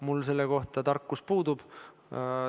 Mul selle kohta tarkus puudub.